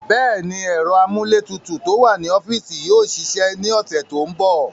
Bẹ́ẹ̀ni, ẹ̀rọ amúlétutù tó wà ní ọ́fíìsì yóò ṣiṣẹ́ ní ọ̀sẹ̀ tó ń bọ̀.